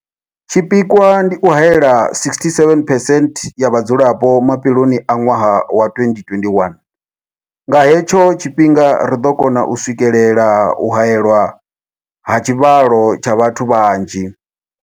Tshipikwa ndi u haela 67 percent ya vhadzulapo mafheloni a ṅwaha wa 2021. Nga hetsho tshifhinga ri ḓo kona u swikelela u haelwa ha tshivhalo tsha vhathu vhanzhi.